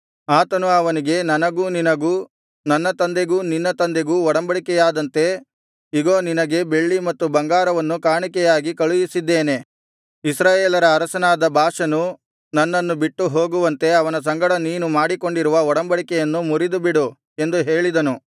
ಆತನು ಅವನಿಗೆ ನನಗೂ ನಿನಗೂ ನನ್ನ ತಂದೆಗೂ ನಿನ್ನ ತಂದೆಗೂ ಒಡಂಬಡಿಕೆಯಾದಂತೆ ಇಗೋ ನಿನಗೆ ಬೆಳ್ಳಿ ಮತ್ತು ಬಂಗಾರವನ್ನು ಕಾಣಿಕೆಯಾಗಿ ಕಳುಹಿಸಿದ್ದೇನೆ ಇಸ್ರಾಯೇಲರ ಅರಸನಾದ ಬಾಷನು ನನ್ನನ್ನು ಬಿಟ್ಟು ಹೋಗುವಂತೆ ಅವನ ಸಂಗಡ ನೀನು ಮಾಡಿಕೊಂಡಿರುವ ಒಡಂಬಡಿಕೆಯನ್ನು ಮುರಿದುಬಿಡು ಎಂದು ಹೇಳಿದನು